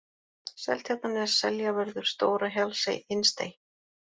Seltjarnarnes, Seljavörður, Stóra-Hjallsey, Innstey